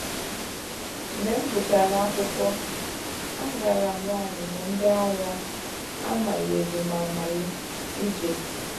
Mgbe m gụchara akwụkwọ, a gara m ọmụmụ ndị ághá a manyere m amanye ije.